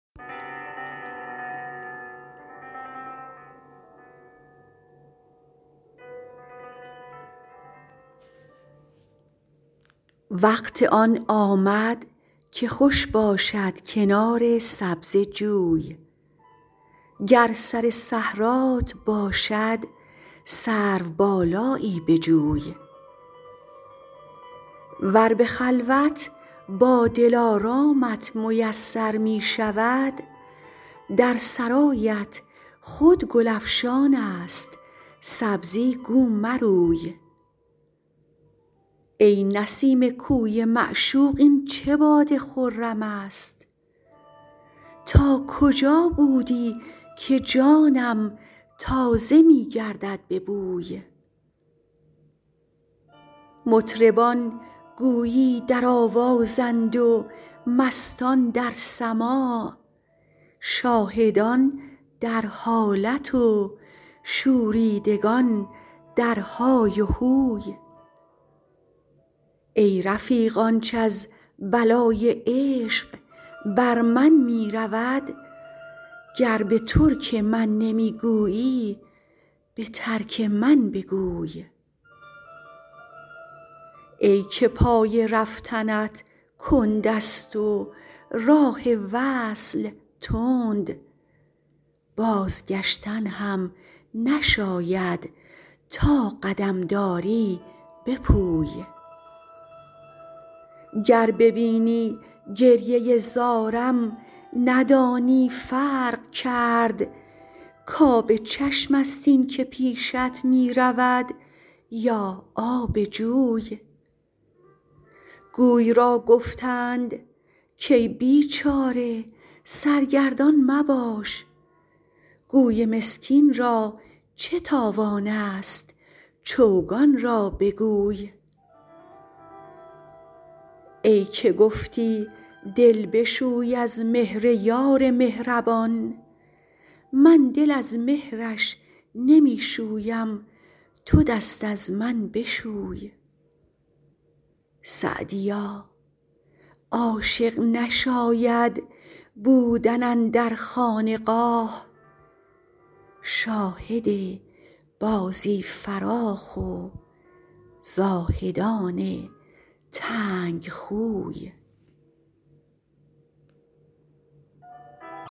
وقت آن آمد که خوش باشد کنار سبزه جوی گر سر صحرات باشد سروبالایی بجوی ور به خلوت با دلارامت میسر می شود در سرایت خود گل افشان است سبزی گو مروی ای نسیم کوی معشوق این چه باد خرم است تا کجا بودی که جانم تازه می گردد به بوی مطربان گویی در آوازند و مستان در سماع شاهدان در حالت و شوریدگان در های و هوی ای رفیق آنچ از بلای عشق بر من می رود گر به ترک من نمی گویی به ترک من بگوی ای که پای رفتنت کند است و راه وصل تند بازگشتن هم نشاید تا قدم داری بپوی گر ببینی گریه زارم ندانی فرق کرد کآب چشم است این که پیشت می رود یا آب جوی گوی را گفتند کای بیچاره سرگردان مباش گوی مسکین را چه تاوان است چوگان را بگوی ای که گفتی دل بشوی از مهر یار مهربان من دل از مهرش نمی شویم تو دست از من بشوی سعدیا عاشق نشاید بودن اندر خانقاه شاهد بازی فراخ و زاهدان تنگ خوی